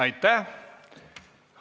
Aitäh!